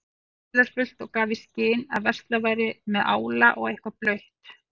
dularfullt og gaf í skyn að verslað væri með ála og eitthvað blautt.